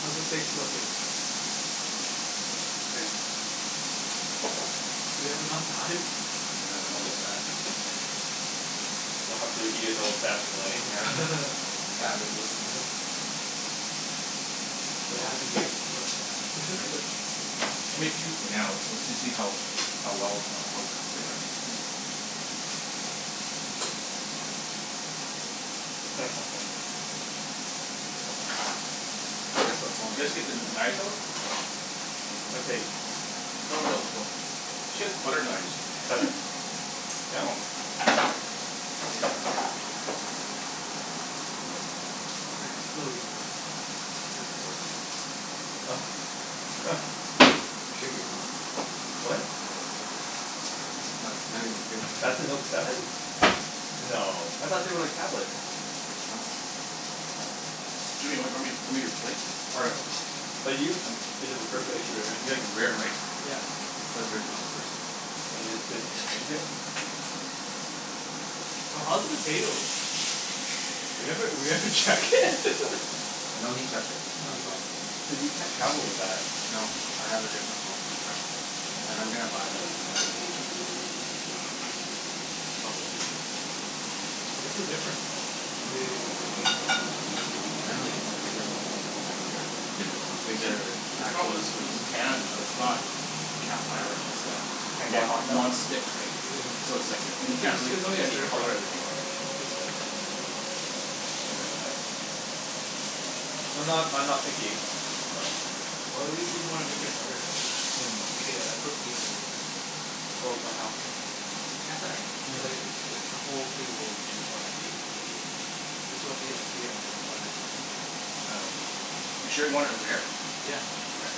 How's the steaks looking? It's okay. Do we have enough knives? Yeah, I don't know about that. We'll have to eat it the old fashioned way. Yeah. Savages. What happened here? Bloodbath. I mean, I made two for now. Let's let's see how how well, how cooked they are. Is that Samsung? Guess what phone You it guys is. get the kn- knives out? That's right. She has butter knives. Seven. No? Close. It's like the exploding one. Yeah, it's the exploding one. Oh. I shit you not. What? It is. I'm not not even kidding. That's a Note seven? Yeah. No. I thought they were like tablets? No. This is the size of it. Jimmy, w- grab me grab me your plate. Oh, 'bout you? It is refurbished or? You like it rare, right? Yeah. It's the original. First gen. And you just didn't exchange it? No. Oh, how's the potatoes? We haven't, we haven't checked it. I know he checked it. I Oh. saw him. So you can't travel with that? No. I have a different phone for traveling and I'm gonna buy the Note eight next month. Probably give this away. Oh, what's the difference then? They, Hmm? what did they change? Apparently, it's a bigger phone. It's nicer, bigger See, the problem actual was was screen. the pan. It's not cast iron. It's uh Can't get non- hot enough? non-stick, right? So it's like, m- It's like can't a, get really it's only a get any stir-fry color of the thing thing. rare. Yeah I think you can stir-fry in that. I'm not I'm not picky, so Well, i- if you wanna make it better, right? I'll make it. It'll cook evenly, right? Oh but how? Cast iron. It's like, the whole thing will be more evenly heated, right? This won't be like heated on one side You sure you want it rare? Yeah. Okay.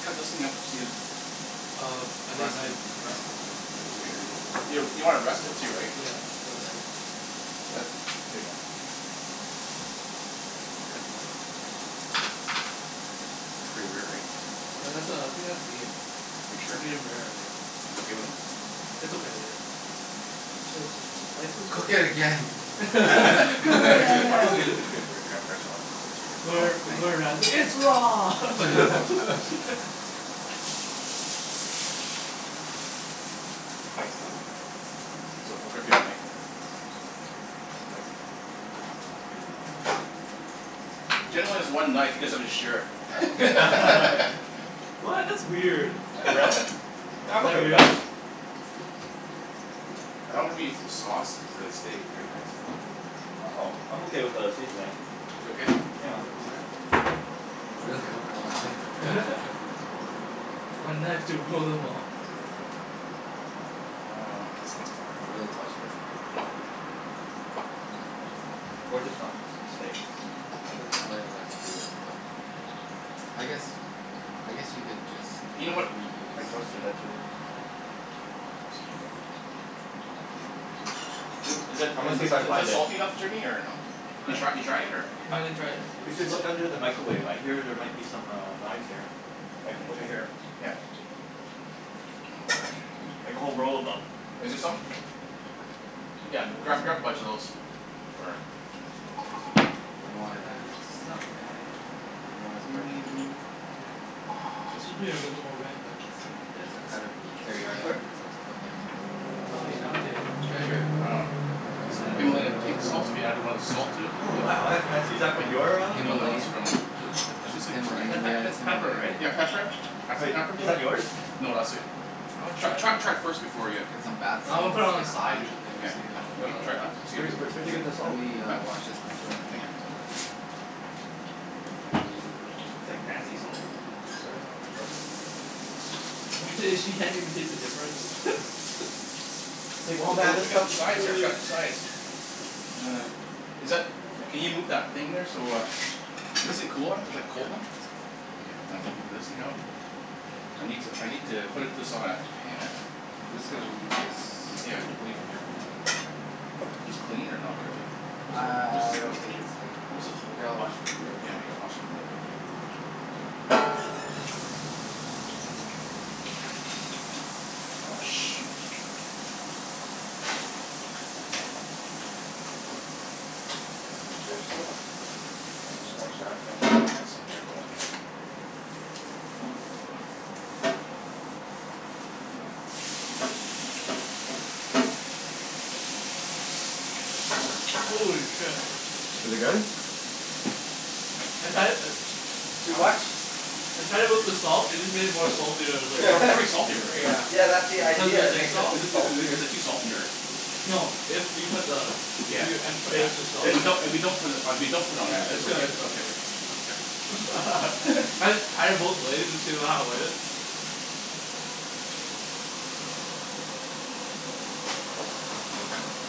Cut those thing up to see if Um, I need a Rest knife. it. Rest it. You w- you want to rest it too, right? Yeah, That's Here you go. Cut It's pretty rare, right? No. That's uh, I think that's medium. Are you sure? Medium rare, I think, yeah. You guys okay with that? It's okay, yeah. Okay. Was the spiciest Cook it again. Cook it again. I'll get, grab yours Alex, since since you're Oh, Gor- thanks. Gordon Ramsay. It's raw! Thanks Don. So, I'll grab me a knife. One sec. Mine's pretty medium. Jen only has one knife you guys have to share it. What? That's weird. For Is real? Yeah, I'm okay that with that. real? I don't have any sauce for the steak here guys. Oh, I'm okay without a seasoning. You okay? Yeah. Okay. Really, only one knife? Okay. One knife to rule them all. Um You can really tell she doesn't cook. Or just not steaks. Other Mm. Oh things. yeah, that's true as well. I guess, I guess you could just You know what, oh Like reuse hang roasted on. vegables and stuff. This'll be good. L- is it I'm in gonna see th- if I can is this find it. salty enough Jimmy, or no? You What? try you try it yet, or No, I didn't try it We yet. should look under the micawave. I hear there might be some uh knives here. Like, over Okay. here. Yeah. Oh, where is she? Like a whole roll of them. Is there some? Yeah, That's grab grab a more bunch of those. Or You know It's why not bad. It's not bad. Yeah. Yeah, you know why it's How hard to many do we tell. ne- Yeah. oh, okay. One It more? should be a little bit more red, but it's, Yeah, yeah. it's the cut of meat too, There you are, It's, yeah. so sir. yeah. Oh, thank It's you. Oh, you found it. Here, Treasure. um What's Just that? Himalaya pink salt, if you added want a salt to it a Oh little bit? wow, that's fancy. Is that from And, your ah no no, it's Himalayan. Himalayan? from Is this Is Himalayan? that Yeah, pep- it's it's pepper, Himalayan. right? Yeah, pepper. Yeah, it's Add some pepper. Wait. pepper Is to that it. yours? No, that's sweet. I wanna Tr- try this. tr- try it first before ya Get some bath No, I'm gonna salts, put it on the get side high. or something Yeah. to see how You it wanna all try it out? See if it Wh- wh- is is where'd is you it, get the Let salt? me huh? uh wash this knife, fir- Oh. It's like fancy salt. Sorry. Yeah. Go Go ahead. ahead. Imagine if she can't even taste the difference? It's like Oh oh w- oh man, wait, this I got stuff some is sides here. I really forgot the sides. Is that, can you move that thing there so uh This a cooler is like Yeah, cold then? it's cold. Okay, I'm gonna get this thing out I need to I need to put it this on a pan I'm just gonna leave this Yeah, we can leave it here for now. This clean, or not really? I What's a what I I don't what's think it's clean. What is it Here, holding? I'll wash it for you. Oh yeah, I think I wash it from you Oh, shoot. Is this dish soap? Unless you wash that and I Shh. get this thing here going. Holy shit. Is it good? I'd had it uh Too Huh? much? I tried it with the salt. It just made it more salty. I was like It's al- it's already salty r- right? Yeah. Yeah, that's the Cuz of idea. the It sea makes it salt. Is m- it is it saltier. is it too salty or No, if you put the if Yeah. you e- put It's extra salt, If it's we yeah. don't if we don't put it if we don't put it on there Yeah, it's it's good. okay It's it's go- okay, right? Okay. I just tried it both ways to see w- how it was.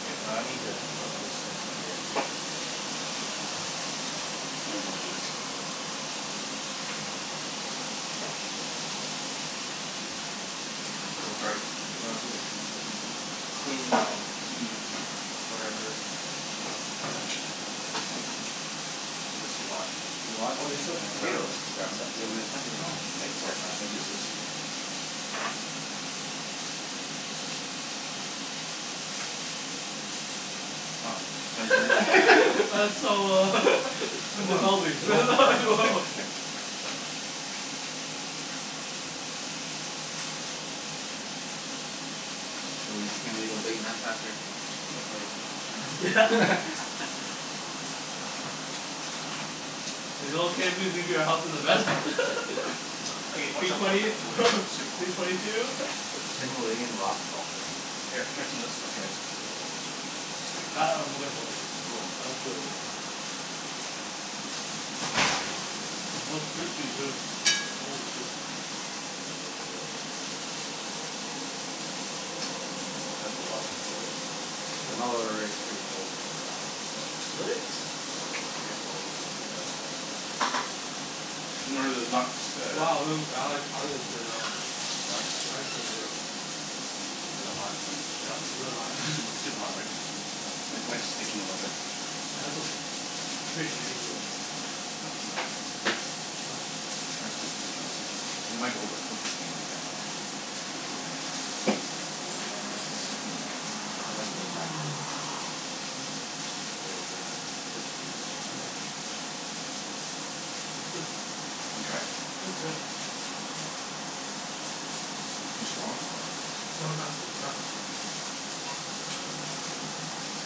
Okay, I need to put this in here. I'm gonna go like this. Here. Sorry. No, it's okay. It's clean now p whatever your number is. I think it's too hot. Too hot? Oh Yeah, there's still I'm gonna grab the potatoes. grab the The oven mitts. I I didn't even know. mitts think here. about that. I'll use this thing here. Oh, Oh. Jen's really That's so uh Come I'm on. A developing. little burn, no? So we just gonna leave a big mess after and go play Yeah. tennis? Is it okay if we leave your house as a mess? Okay, watch P out watch twenty out watch out watch out. Sneak behind P twenty two. Himalayan rock salts. Here, try some of this stuff guys. Woah. That I'm looking forward to. Ooh. That looks really good. Oh, it's crispy, too. Holy shoe. Oh, that's good. S- that's a lot of potatoes. I'm al- Oh. already pretty full from the salad. Really? Yeah, I get full easily but Oh. Oh. I can keep eating. You know where the knocks uh Wow, potato. What? Eyes potato. Is it hot? Yep, it's really hot. Is it super super hot, right? Mm. Yeah. Yeah. It's my sticking a little bit. Yeah, that's okay. It's pretty easy to uh g- get off. Not so mu- Oh. Try s- this this try some of this. It might be overcooked actually. I'm not sure. Ah. Like sticking. I like the fact that it's sticking. Oh. Cuz there's a crispiness under. Yep. Yeah. It's good though. You tried it? It's good. Too strong, though, or No, it's not s- it's not too strong.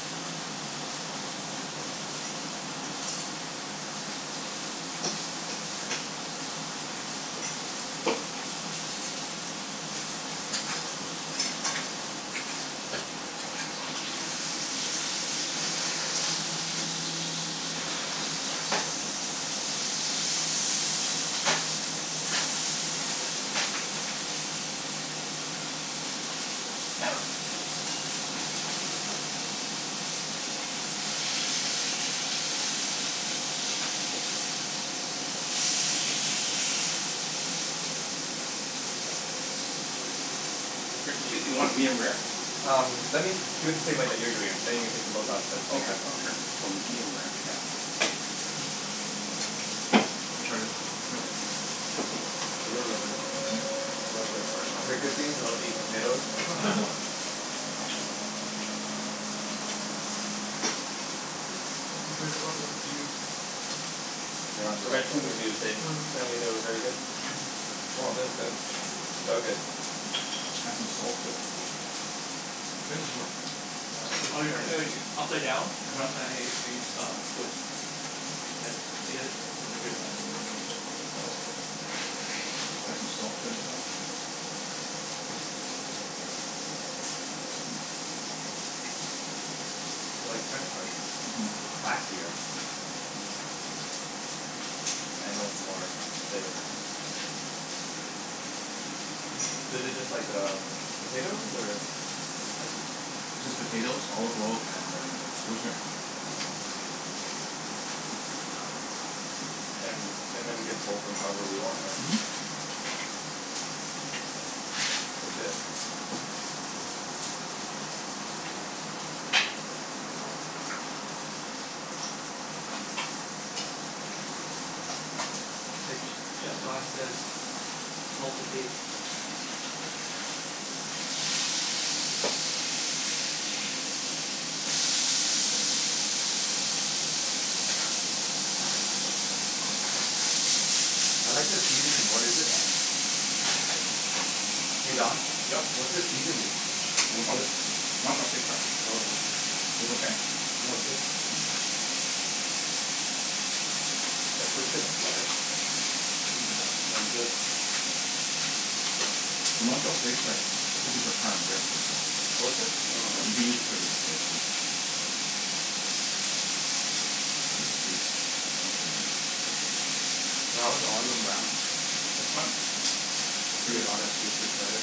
Rick, the chickpea, you want it medium-rare? Um, let me do it the same way that you're doing it, then you can take them both out at by the same Okay, time. okay sure. So medium-rare. Yeah. You try the The potatoes are good. Love the burnt I've heard good things crispiness. about these potatoes. I am wa- You heard about the reviews. They're on I Yelp read two already. reviews and Mm. apparently they were very good. Mhm. Oh, thith is good. These are good. Add some salt to it. How does this work? Ah, I think you Oh just you turn it. should ea- upside down. uh-huh. Uh, twist. As, you gotta twist it pretty hard, yeah. Oh. Yeah. Add some salt to it, yeah. They're like French fries but c- Mhm. but classier. Mhm. And also more flavorful. So is it just like um, potatoes? Or How'd you m- It's just potatoes, olive oil, and uh rosemary. Mm. And and then we can salt them however we want, right? Mhm. That's legit. Like ch- chef Don says salt to taste. I like the seasoning. What is it, Don? Hey Don? Yep. What's the seasoning? For It's which one? good. Montreal steak spice. Oh, yeah. Was okay? No, it's good. Mm. It's pretty good on lettuce. Mhm. What's that? No, it's good. The Montreal steak spice, it's supposed to be for prime rib right? So Oh, is it? Yeah, I Oh. think they use it for the steak too. This is pretty stuck on there pretty good. So how was It's fun. You Pretty see a good. lot of gifted players?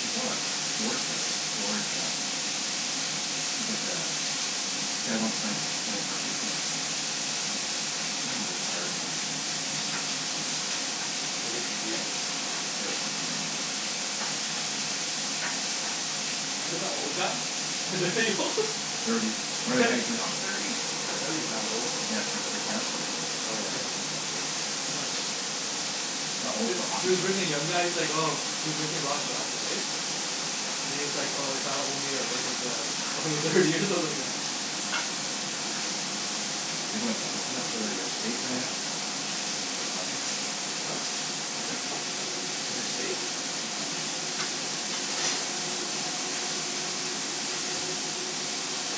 We still got George guy, right? George uh he's like uh, guy won Stan- P- Stanley Park Open, actually. Oh. I think he's Oh. retired now. Was he competing? Yeah, he was competing, yeah. Is it that old guy? old? Thirty. "I'm thirty." Thirty's not old. Yeah, for t- for a tennis player it is. Oh, yeah. For a tennis Yeah. player. Not old Is for a hockey is for player. birthing young guys like oh, he was missing a lot of shots, right? And he's like, "Oh, if only I wasn't uh over thirty" or something like that. You guys want any ketchup for that for th- for your steaks or anything at? Mm. We could find some. What? Ketchup? For my steak? Oh no.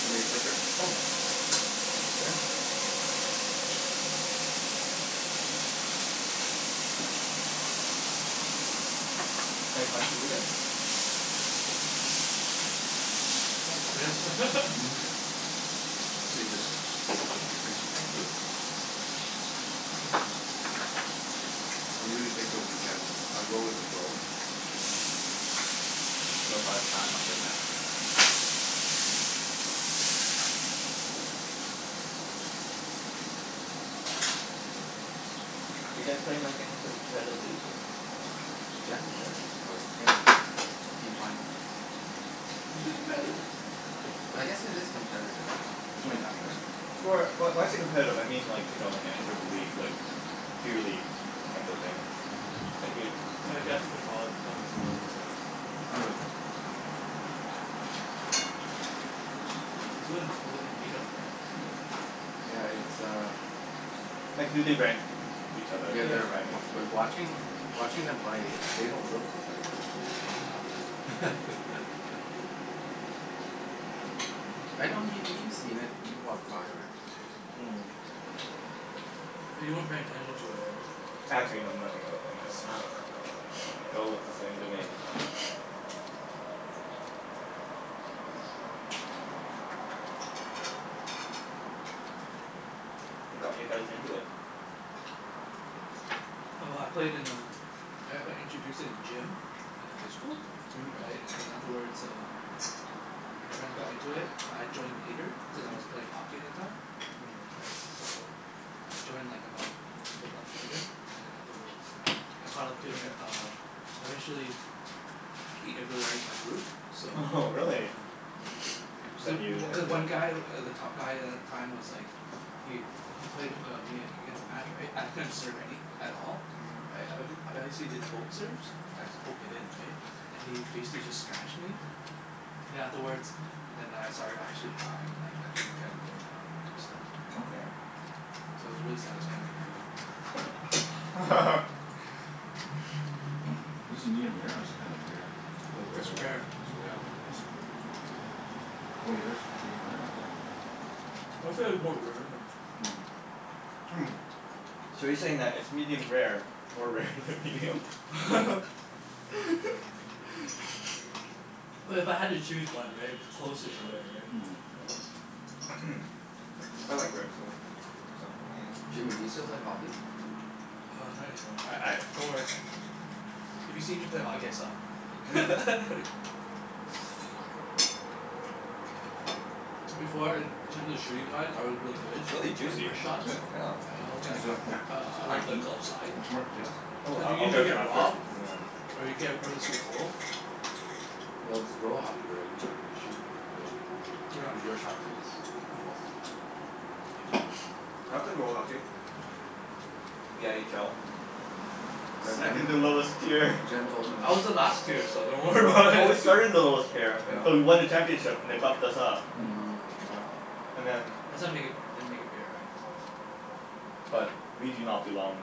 Show me your plate, Rick? Oh, yeah. Thank you, sir. Thanks. Any plans for the weekend? Probably tennis. Mhm. Save this o- Oh, okay for you? thank you. I usually take the weekend, I go with the flow. But if I have time, I'll play tennis. Do you guys play in like any sort of competitive league, or? No. Jen does, or Kim. P twenty. Is it competitive? I guess it is competitive. You guys want any napkins? Right? Or wh- why's it competitive? I mean like, you know, any sort of league, like beer league, type of thing? Thank you. I guess you can call it like a beer league, right? I'm good mm. It's Mm. when, within meet-up, right? Yeah, it's uh Mm. Like do they rank each other? Yeah, That's there Yeah. are what I mean rankings. But so- watching watching them play, they don't look competitive. Yeah. Y- I know yo- you've seen it. You've walked by, right? Mm. But you weren't paying attention to it, Oh. right? Actually know nothing about tennis, so they all look the same to me. What got you guys into it? Oh, I played in um I've I introduced it in gym in the high school. Mhm. Mhm. Right? And then afterwards uh my friends got into it but I joined later cuz I was play hockey at the time. Mhm. Right? So I joined like about couple months later. And then afterwards I caught up to e- uh I Mhm. eventually beat everyone in my group. So Oho, really? yeah Cuz i- Then you w- had cuz to one guy, w- the top guy a- at the time was like Yu. He played uh me against a match, right? I couldn't serve any at all. Right? I bet h- I bet he see the poke serves? I'd just poke it in, right? And he basically just smashed me Mhm. then afterwards then I started actually trying. Like actually trying to learn how do stuff, you Okay. Okay. know? So it was really satisfying when I beat him. Is this medium-rare, or is it kinda rare? A little bit It's rare, rare. It's rare, yeah. right? It's okay. How 'bout yours? medium-rare or rare? I'd say it's more rare than Mm. Mm, so you're saying that it's medium rare more rare than medium? Well, if I had to choose one, right? It'd be closer to rare, right? Mm. Yeah. I like rare, so works out for me. Jimmy, you still play hockey? Uh, not any more. I I, don't worry if you see me play hockey I Mm. suck. Before in terms of shooting-wise I was really good It's really like juicy. wrist shots? Yeah? Yeah. I always got a It's a a coup- it's uh high glove the heat. glove side. Want some more potatoes? Oh, Did I you I'll usually get some get after, robbed? Mhm. Or you nyeah, get rid of finish this. some goal? Well, it's roll hockey, right? If you can shoot you'll Yeah. it was your shot to miss, most of the time. Yeah. I play roll hockey. No. Yeah. The n h l. Yeah, Second to Yeah. lowest tier. Jen Jen told me. I was the last tier, so don't worry Oh, about but we it. started in the lowest tier Jen but told we me. won the Yeah. championship and they bumped us up. Mm. Mm. Wow. And then That's how make it f- they make it fair, right? but we do not belong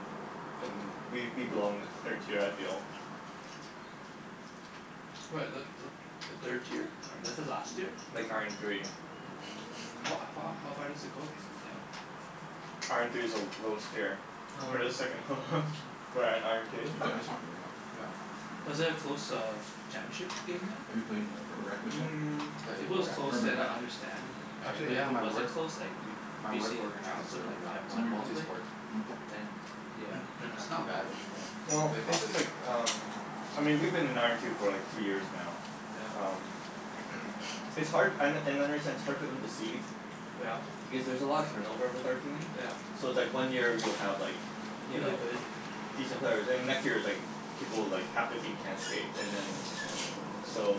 in, we we belong in the third tier I feel. What, is that th- the third tier? This is last year? Like, iron three. Mm. How a f- h- how far does it go down? Iron three is the l- lowest tier. Oh. Oh. We're the second h- lowest. We're at iron two. You play ice hockey, right Alan? Yeah. Was Mm. it a close uh championship game then? Have you played in a Mm. If it Played was where? close Urban then Rec? I understand yeah, right? Actually But if yeah, it my wasn't work close like m- my work BC organizes trounced them Urban like Rec. five one or Multi something? Mm. sport. Mm. Then yeah, you kinda It's have not to bad. Well, Played it's hockey just like there. um I mean we've been in iron two for like two years now. Yeah? Um It's hard an- and I understand it's hard for them to cede Yeah. because there's a lot of turnover with our team. Yeah. So it's like one year you'll have like you Really know, good? decent players. And the next year it's like people, like half the team can't skate, and then So